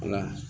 Wala